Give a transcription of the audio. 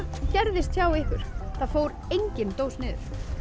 gerðist hjá ykkur það fór engin dós niður